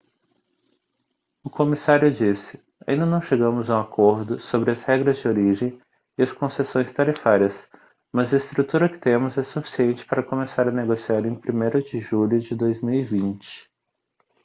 o comissário disse ainda não chegamos a um acordo sobre as regras de origem e as concessões tarifárias mas a estrutura que temos é suficiente para começar a negociar em 1º de julho de 2020